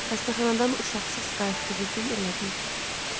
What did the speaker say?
Xəstəxanadan uşaqsız qayıtdığı gün elədiyi kimi.